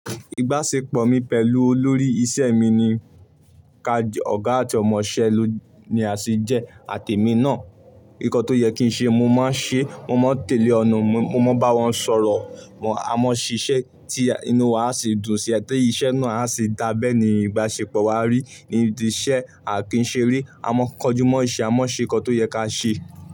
Ìbáṣepọ̀ mi pẹ̀lú olórí iṣẹ́ mi ni ká ọ̀gá àti ọmọṣẹ́ ni a se jẹ́, àtèmi náà. Nǹkan tó yẹ kí n ṣe mo máa ń ṣe, mo máa ń tẹ̀lé ọ̀nà mi, mo máa bá wọn sọ̀rọ̀, a máa ń ṣiṣẹ́ tí inú wa sì dùn sí i, ti iṣẹ́ náà a sì dábẹ́ ni ìbáṣepọ̀ wa rí, nídi iṣẹ́ à kìí seere A mọ ń kojú mo ise, a mọ̀ ń ṣe ǹkan tó yẹ ká ṣe.